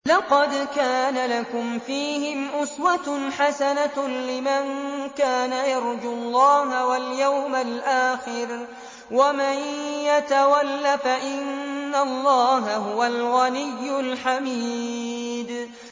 لَقَدْ كَانَ لَكُمْ فِيهِمْ أُسْوَةٌ حَسَنَةٌ لِّمَن كَانَ يَرْجُو اللَّهَ وَالْيَوْمَ الْآخِرَ ۚ وَمَن يَتَوَلَّ فَإِنَّ اللَّهَ هُوَ الْغَنِيُّ الْحَمِيدُ